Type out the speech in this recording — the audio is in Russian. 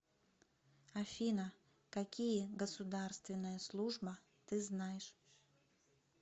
афина какие государственная служба ты знаешь